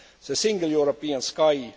the Single European Sky